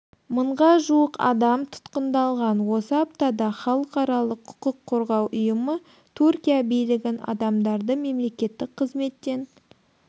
мыңға жуық адам тұтқындалған осы аптада халықаралық құқық қорғау ұйымы түркия билігін адамдарды мемлекеттік қызметтен